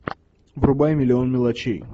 врубай миллион мелочей